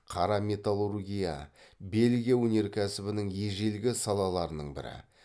қара металлургия бельгия өнеркәсібінің ежелгі салаларының бірі